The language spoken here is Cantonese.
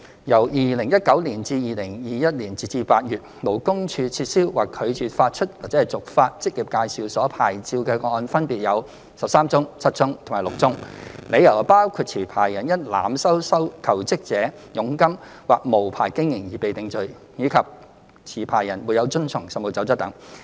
由2019年至2021年，勞工處撤銷或拒絕發出/續發職業介紹所牌照的個案分別有13宗、7宗及6宗，理由包括持牌人因濫收求職者佣金或無牌經營而被定罪，以及持牌人沒有遵從《實務守則》等。